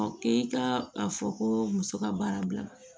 K'e ka a fɔ ko muso ka baara bila